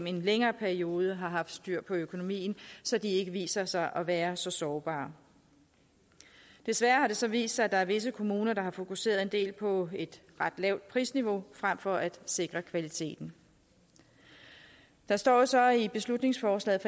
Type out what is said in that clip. en længere periode har haft styr på økonomien så de ikke viser sig at være så sårbare desværre har det så vist sig at der er visse kommuner der har fokuseret en del på et ret lavt prisniveau frem for på at sikre kvaliteten der står så i beslutningsforslaget